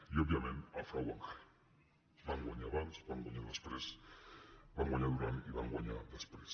i òbviament el frau bancari van guanyar bancs van guanyar després van guanyar durant i van guanyar després